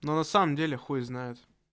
но на самом деле хуй знает